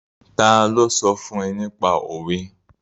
Ta ló sọ fún ẹ nípa òwe?